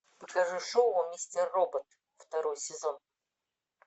покажи шоу мистер робот второй сезон